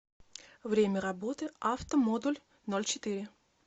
время работы автомодульнольчетыре